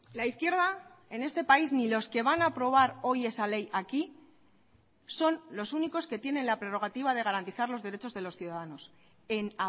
la izquierda en este país ni los que van a aprobar hoy esa ley aquí son los únicos que tienen la prerrogativa de garantizar los derechos de los ciudadanos en